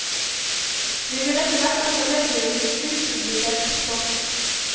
Vi vil etterhvert også legge ut upublisert stoff.